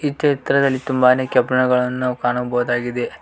ಈ ಚಿತ್ರದಲ್ಲಿ ತುಂಬಾನೇ ಕಬ್ಬಿಣಗಳನ್ನು ಕಾಣ ಬಹುದಾಗಿದೆ.